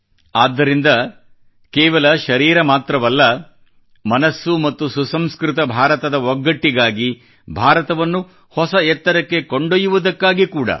ಆದ್ದರಿಂದ ಕೇವಲ ಶರೀರ ಮಾತ್ರವಲ್ಲ ಮನಸ್ಸು ಮತ್ತು ಸುಸಂಸ್ಕೃತ ಭಾರತದ ಒಗ್ಗಟ್ಟಿಗಾಗಿ ಭಾರತವನ್ನು ಹೊಸ ಎತ್ತರಕ್ಕೆ ಕೊಂಡೊಯ್ಯುವುದಕ್ಕಾಗಿ ಕೂಡಾ